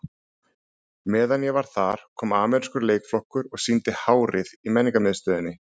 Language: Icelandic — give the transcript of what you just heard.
Meðan ég var þar kom amerískur leikflokkur og sýndi Hárið í Menningarmiðstöðinni.